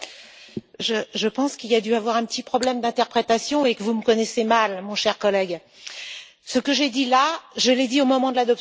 Je pense qu'il a dû y avoir un petit problème d'interprétation et que vous me connaissez mal, mon cher collègue. Ce que j'ai dit, je l'ai dit au moment de l'adoption du texte.